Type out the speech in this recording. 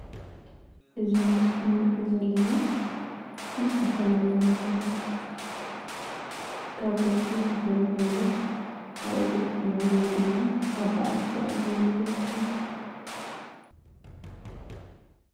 እዚ ኣብ ምስሊ ንሪኦ ዘለና ብዝተፈላለየ ምኽንያት ካብ ገዝኡ ተፈናቒሉ ኣብ እግሪ ፅላል ወይ ድማ ኣብ በዓቲ ኣፅሊሉ ዝርከብ እዩ።